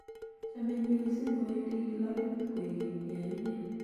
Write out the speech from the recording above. chamei mising kowendi klabit kwekeny ya imen